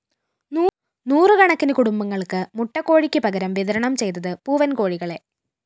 നൂറുകണക്കിന് കുടുംബങ്ങള്‍ക്ക് മുട്ടക്കോഴിക്ക് പകരം വിതരണം ചെയ്തത് പൂവന്‍കോഴികളെ